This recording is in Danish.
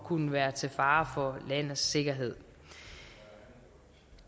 kunne være til fare for landets sikkerhed